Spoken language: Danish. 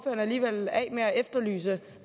alligevel af med at efterlyse